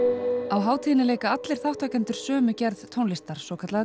á hátíðinni leika allir þátttakendur sömu gerð tónlistar svokallaða